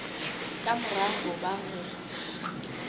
ka mora ho ba ho